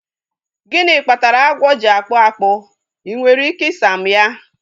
Gịnị kpatara agwọ ji akpụ akpụ? Ị nwere ike ị sa m ya?